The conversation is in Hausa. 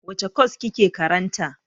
Wace kwas kike karanta?